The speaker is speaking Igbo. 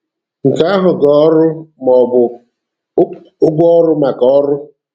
Nke ahụ ga-ọrụ maọbụ 'ụgwọ ọrụ maka ọrụ'.